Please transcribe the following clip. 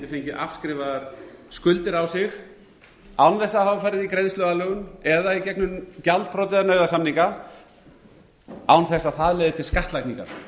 fengið afskrifaðar skuldir á sig án þess að hafa farið í greiðsluaðlögun eða í gegnum gjaldþrot eða nauðasamninga án þess að það leiði til skattlagningar